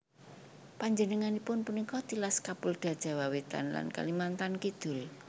Panjenenganipun punika tilas Kapolda Jawa Wétan lan Kalimantan Kidul